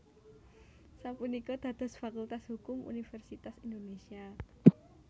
sapunika dados Fakultas Hukum Universitas Indonésia